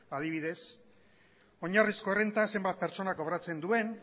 adibidez oinarrizko errenta zenbat pertsonak kobratzen duen